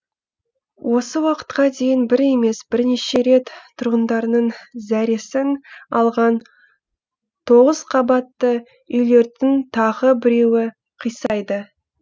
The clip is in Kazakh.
осы уақытқа дейін бір емес бірнеше рет тұрғындарының зәресін алған тоғыз қабатты үйлердің тағы біреуі қисайды